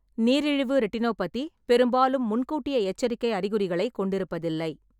நீரிழிவு ரெட்டினோபதி பெரும்பாலும் முன்கூட்டிய எச்சரிக்கை அறிகுறிகளைக் கொண்டிருப்பதில்லை.